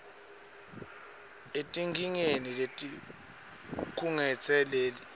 etinkingeni letikhungetse lela